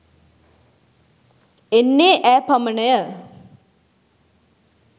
එන්නේ ඈ පමණය